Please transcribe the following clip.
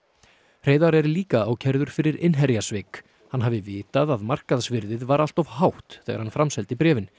Hreiðar er líka ákærður fyrir innherjasvik hann hafi vitað að markaðsvirðið var allt of hátt þegar hann framseldi bréfin